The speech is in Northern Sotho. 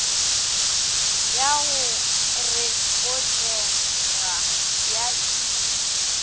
ya go rekotega ya ik